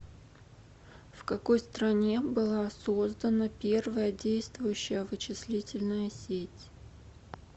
в какой стране была создана первая действующая вычислительная сеть